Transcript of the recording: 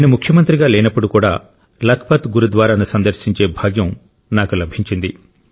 నేను ముఖ్యమంత్రిగా లేనప్పుడు కూడా లఖ్పత్ గురుద్వారాను సందర్శించే భాగ్యం నాకు లభించింది